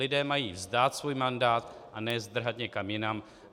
Lidé mají vzdát svůj mandát a ne zdrhat někam jinam.